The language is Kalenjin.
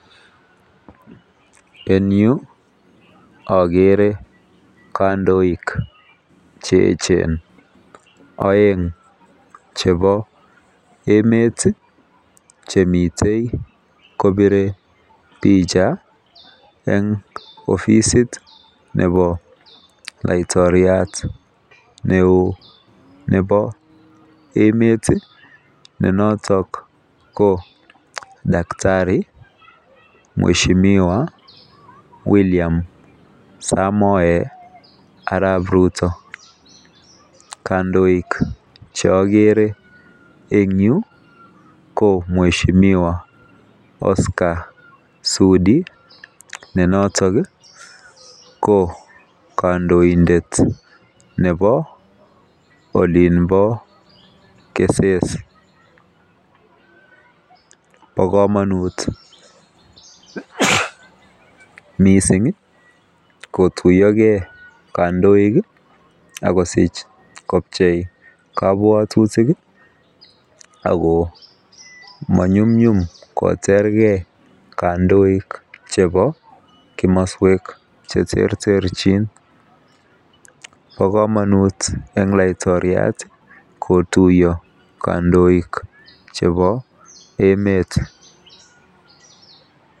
En Yu agere kandoik cheyechen aeng chebo emet Chemiten kobire bicha en oficit Nebo laiktoriat neon Nebo emet ne noton ko daktari mweshimiwa William samoe Arab Ruto cheagere en Yu ko mweshimiwa Oscar Sudi ne noton ko kandoindet Nebo olimbo kesese ba kamanut mising kotuiyo gei kandoik akosich kobchei kabwatutik akomanyumnyum koter gei kandoik chebo kamaswek cheterterchin ba kamanut en laiktoriat kotuiyo kandoik en emet